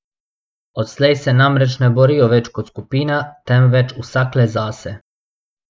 Odslej se namreč ne borijo več kot skupina, temveč vsak le zase.